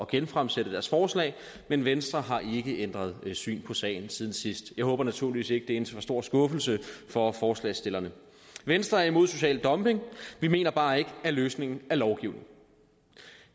genfremsætte deres forslag men venstre har ikke ændret syn på sagen siden sidst jeg håber naturligvis ikke en for stor skuffelse for forslagsstillerne venstre er imod social dumping vi mener bare ikke at løsningen er lovgivning